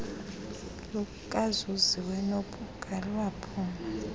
lukazuziwe nobhuqa lwaphula